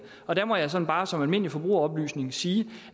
og der må jeg sådan bare som almindelig forbrugeroplysning sige